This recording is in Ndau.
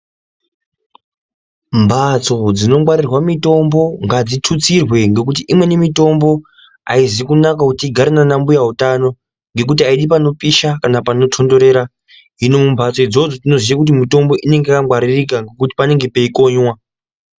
Mbatso dzinongwarirwa mutombo ngadzututsirwe ngekuti imweni mitombo aizi kunaka yezvehutano imwi panopisha kana panotonderera hino padzo dzino ngwaririka nekuti panenge peikoiwa.